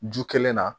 Ju kelen na